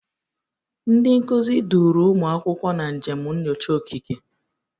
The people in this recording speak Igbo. Ndị nkuzi duuru ụmụ akwụkwọ na njem nyocha okike.